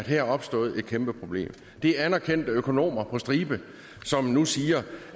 her er opstået et kæmpe problem det er anerkendte økonomer på stribe som nu siger